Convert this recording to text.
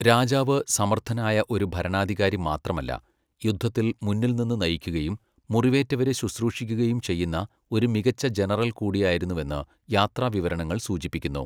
രാജാവ് സമർത്ഥനായ ഒരു ഭരണാധികാരി മാത്രമല്ല, യുദ്ധത്തിൽ മുന്നിൽ നിന്ന് നയിക്കുകയും മുറിവേറ്റവരെ ശുശ്രൂഷിക്കുകയും ചെയ്യുന്ന ഒരു മികച്ച ജനറൽ കൂടിയായിരുന്നുവെന്ന് യാത്രാവിവരണങ്ങൾ സൂചിപ്പിക്കുന്നു.